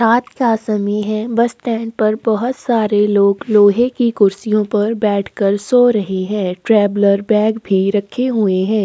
रात का समय है बस स्टँड पर बहोत सारे लोग लोहै की कुर्सियों पर बैठकर सो रहै है ट्रॅवलर बॅग भी रखी हुई है।